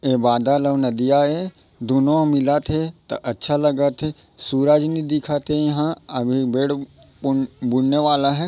ए बादल अऊ नदिया ए दुनो मिला थे त अच्छा लगा थे सूरज नई दिखा थे इहाँ बेड बुनने वाला हे।